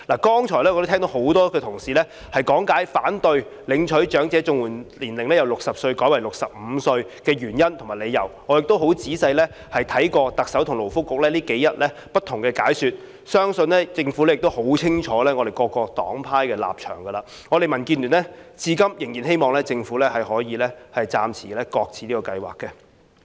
剛才我聽到很多同事講解了反對領取長者綜援年齡由60歲改為65歲的原因，我亦十分仔細看過特首和勞工及福利局近日不同的解說，相信政府亦已很清楚各黨派的立場，我們民建聯至今仍然希望政府能夠暫時擱置這計劃。